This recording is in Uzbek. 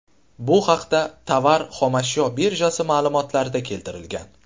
Bu haqda Tovar-xomashyo birjasi ma’lumotlarida keltirilgan .